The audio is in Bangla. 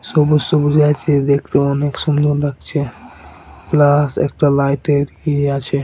সবুজ সবুজে আছে দেখতে অনেক সুন্দর লাগছে। প্লাস একটা লাইটের ইয়ে আছে।